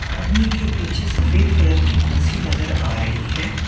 आदमी के पीछे सफेद कलर की कुर्सी नजर आ रही है।